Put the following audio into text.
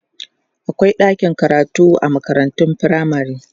akwai ɗakin karatu a makarantun firamare